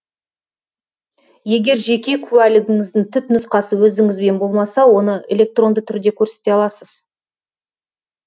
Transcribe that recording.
егер жеке куәлігіңіздің түпнұсқасы өзіңізбен болмаса оны электронды түрде көрсете аласыз